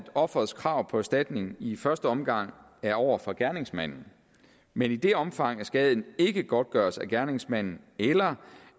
offerets krav på erstatning i første omgang er over for gerningsmanden men i det omfang skaden ikke godtgøres af gerningsmanden eller